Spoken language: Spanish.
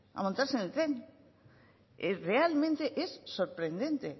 a montarse en el tren realmente es sorprendente